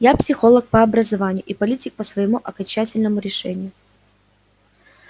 я психолог по образованию и политик по своему окончательному решению